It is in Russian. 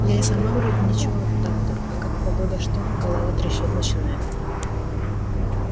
я и сама вроде ничего так-то а как погода что голова трещать начинает